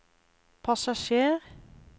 passasjer